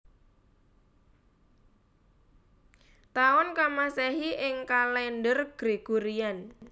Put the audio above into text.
Taun ka Masehi ing kalèndher Gregorian